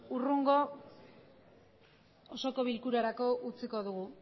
hurrengo osoko bilkurarako utziko dugu